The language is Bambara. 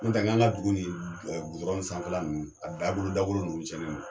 Nɔntɛ ŋ'an ka dugu nin nɛgɛ sanfɛla ninnu, a dabolo dagolo nunnu tiɲɛnen do.